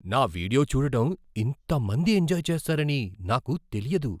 నా వీడియో చూడడం ఇంత మంది ఎంజాయ్ చేస్తారని నాకు తెలియదు!